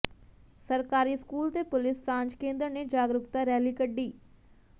ਸਰਕਾਰੀ ਸਕੂਲ ਤੇ ਪੁਲਿਸ ਸਾਂਝ ਕੇਂਦਰ ਨੇ ਜਾਗਰੂਕਤਾ ਰੈਲੀ ਕੱਢੀ